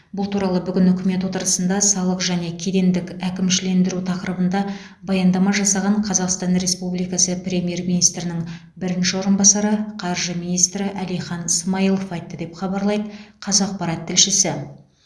бұл туралы бүгін үкімет отырысында салық және кедендік әкімшілендіру тақырыбында баяндама жасаған қазақстан республикасы премьер министрінің бірінші орынбасары қаржы министрі әлихан смайылов айтты деп хабарлайды қазақпарат тілшісі